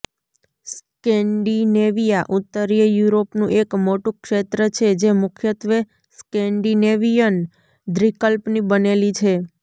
Scandinavia ઉત્તરીય યુરોપનું એક મોટું ક્ષેત્ર છે જે મુખ્યત્વે સ્કેન્ડિનેવિયન દ્વીપકલ્પની બનેલી છે